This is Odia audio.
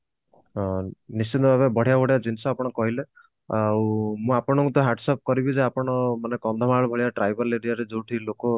ହଁ ନିଶ୍ଚିନ୍ତ ଭାବେ ବଢିଆ ବଢିଆ ଜିନିଷ ଆପଣ କହିଲେ ଆଉ ମୁଁ ଆପଣଙ୍କୁ ତ hat sop କରିବି ଯେ ଆପଣ ମାନେ କନ୍ଧମାଳ ଭଳିଆ tribal aria ରେ ଯୋଉଠି ଲୋକ